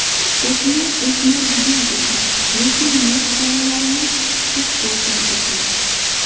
O‘sma o‘smaydigan ekan, lekin nerv tolalarini siqib qo‘ygan ekan.